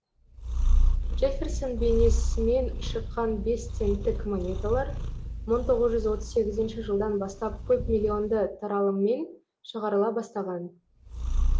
джефферсон бейнесімен шыққан бес центтік монеталар мың тоғыз жүз отыз сегізінші жылдан бастап көп миллионды таралыммен шығарыла бастаған